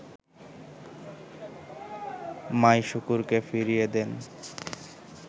মাইশুকুরকে ফিরিয়ে দেন